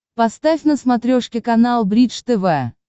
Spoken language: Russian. поставь на смотрешке канал бридж тв